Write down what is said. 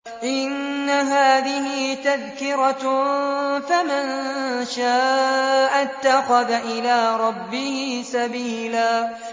إِنَّ هَٰذِهِ تَذْكِرَةٌ ۖ فَمَن شَاءَ اتَّخَذَ إِلَىٰ رَبِّهِ سَبِيلًا